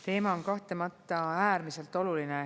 Teema on kahtlemata äärmiselt oluline.